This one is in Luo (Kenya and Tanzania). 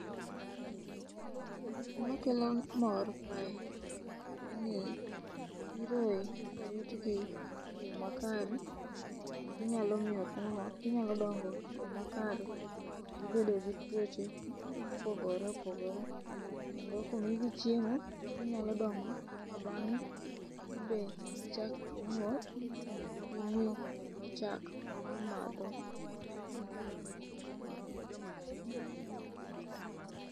Gima kelo mor kae en ni nyiroe korit gi e yoo makare to ginyalo miyo ginyalo dongo e yoo makare kok gibedo gi tuoche mopogore opogore. Kendo komigi chiemo to ginyalo dongo ma bang'e be gichak ginyuol ma gimiwa chak ma wamadho